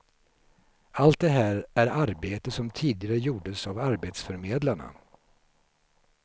Allt det här är arbete som tidigare gjordes av arbetsförmedlarna.